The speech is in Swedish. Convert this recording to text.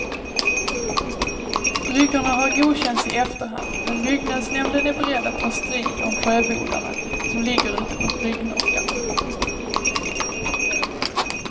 Bryggorna har godkänts i efterhand men byggnadsnämnden är beredd ta strid om sjöbodarna som ligger ute på bryggnockarna.